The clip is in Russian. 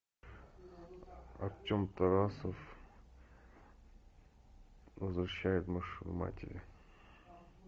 артем тарасов возвращает машину матери